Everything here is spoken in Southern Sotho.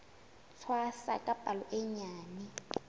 tshwasa ka palo e nyenyane